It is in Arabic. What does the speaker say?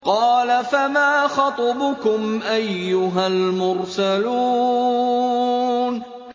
قَالَ فَمَا خَطْبُكُمْ أَيُّهَا الْمُرْسَلُونَ